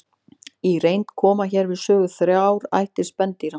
Í reynd koma hér við sögu þrjár ættir spendýra.